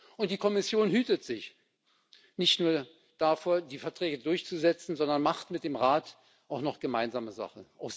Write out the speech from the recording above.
Und die Kommission hütet sich, nicht nur davor, die Verträge durchzusetzen, sondern macht mit dem Rat auch noch gemeinsame Sache.